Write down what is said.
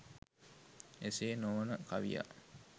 එසේ නොවන කවියා